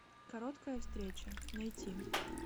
короткая встреча найти